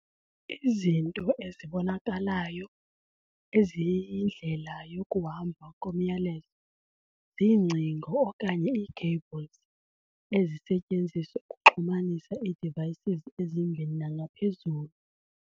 Izinto ezibonakalayo eziyindlela yokuhamba komyalezo- ziingcingo okanye ii-cables ezisetyenziswa ukuxhumanisa ii-devices ezimbini nangaphezulu.